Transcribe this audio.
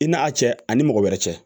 I n'a a cɛ ani mɔgɔ wɛrɛ cɛ